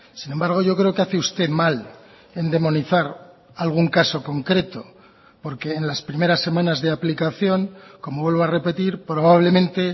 sin embargo yo creo que hace usted mal en demonizar algún caso concreto porque en las primeras semanas de aplicación como vuelvo a repetir probablemente